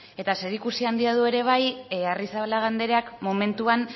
eta zerikusia du ere bai arrizabalaga andreak momentuan